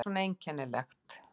Hvað er svona einkennilegt?